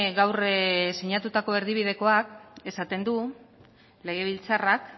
gaur sinatutako erdibidekoak esaten du legebiltzarrak